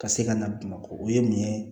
Ka se ka na bamakɔ o ye mun ye